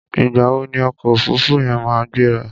Ìgbà wo ni ọkọ̀ òfuruufú yẹn máa gbéra?